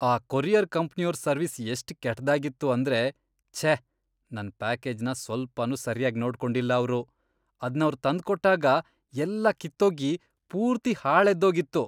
ಆ ಕೊರಿಯರ್ ಕಂಪ್ನಿಯೋರ್ ಸರ್ವಿಸ್ ಎಷ್ಟ್ ಕೆಟ್ದಾಗಿತ್ತು ಅಂದ್ರೆ ಛೇ, ನನ್ ಪ್ಯಾಕೇಜ್ನ ಸ್ವಲ್ಪನೂ ಸರ್ಯಾಗ್ ನೋಡ್ಕೊಂಡಿಲ್ಲ ಅವ್ರು, ಅದ್ನವ್ರ್ ತಂದ್ಕೊಟ್ಟಾಗ ಎಲ್ಲ ಕಿತ್ತೋಗಿ ಪೂರ್ತಿ ಹಾಳೆದ್ದೋಗಿತ್ತು.